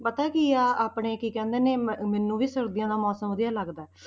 ਪਤਾ ਕੀ ਹੈ ਆਪਣੇ ਕੀ ਕਹਿੰਦੇ ਨੇ ਮ~ ਮੈਨੂੰ ਵੀ ਸਰਦੀਆਂ ਦਾ ਮੌਸਮ ਵਧੀਆ ਲੱਗਦਾ ਹੈ।